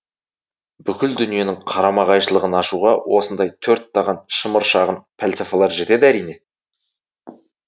бүткіл дүниенің қарама қайшылығын ашуға осындай төрттаған шымыр шағын пәлсафалар жетеді әрине